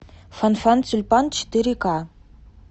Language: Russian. фанфан тюльпан четыре к